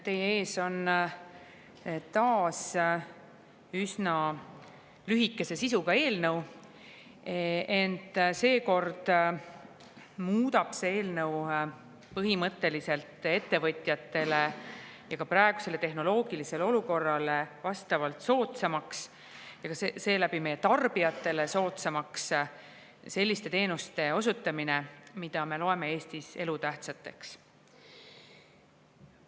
Teie ees on taas üsna lühikese sisuga eelnõu, ent seekord muudab see põhimõtteliselt ettevõtjatele ja ka praegusele tehnoloogilisele olukorrale vastavalt soodsamaks ja seeläbi meie tarbijatele soodsamaks selliste teenuste osutamise, mida me loeme Eestis elutähtsateks.